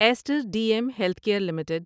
Easter D M healthcare کیئر limited